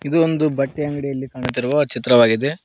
ಇದು ಒಂದು ಬಟ್ಟೆ ಅಂಗಡಿಯಲ್ಲಿ ಕಾಣುತ್ತಿರುವ ಚಿತ್ರವಾಗಿದೆ.